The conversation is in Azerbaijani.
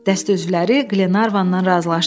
Dəstə üzvləri Qlenarvandan razılaşdı.